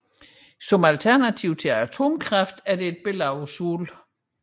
Som alternativ til atomkraft er der et billede af solen